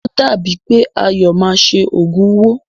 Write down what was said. O dàbí è pé Ayọ̀ máa ṣe òògùn owó.